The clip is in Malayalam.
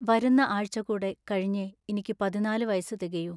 വരുന്ന ആഴ്ച കൂടെ കഴിഞ്ഞെ ഇനിക്കു പതിന്നാലു വയസ്സു തികയൂ.